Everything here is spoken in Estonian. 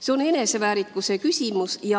See on eneseväärikuse küsimus.